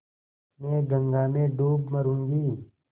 मैं गंगा में डूब मरुँगी